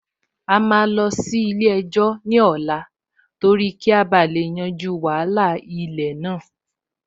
A máa lọ sí ilé-ẹjọ́ ní ọ̀la torí kí a bá lè yanjú wàhálà ilẹ̀ náà